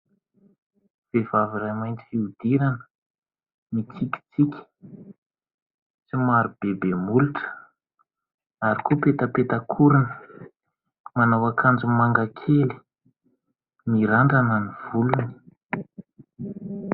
Vehivavy iray mainty fiodirana mitsikitsiky, somary bebe molotra ary koa petapetak'orona, manao ankanjo mangakely mirandrana ny volony.